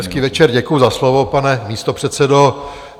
Hezký večer, děkuju za slovo, pane místopředsedo.